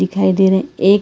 दिखाई दे रहा है एक--